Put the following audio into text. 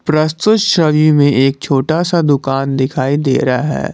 प्रस्तुत छवि में एक छोटा सा दुकान दिखाई दे रहा है।